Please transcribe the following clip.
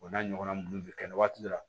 O n'a ɲɔgɔnna buru bɛ kɛ waati dɔ la